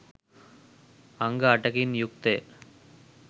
අංග අටකින් යුක්තය.